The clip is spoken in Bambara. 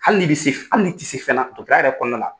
Hali n'i bɛ se fɛn hali n'i se fɛna o ta yɛrɛ kɔnɔna na